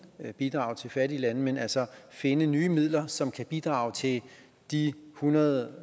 bidrag til fattige lande men altså finde nye midler som kan bidrage til de hundrede